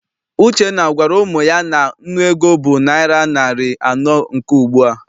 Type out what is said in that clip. Uchenna agwara ụmụ ya na nnu ego bụ naịra narị anọ nke ugbua?